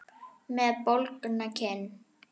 Með bólgna kinn.